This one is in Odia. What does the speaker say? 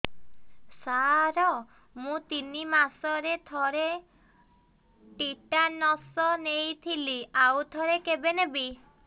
ସାର ମୁଁ ତିନି ମାସରେ ଥରେ ଟିଟାନସ ନେଇଥିଲି ଆଉ ଥରେ କେବେ ନେବି